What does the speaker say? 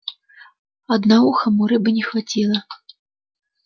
одноухому рыбы не хватило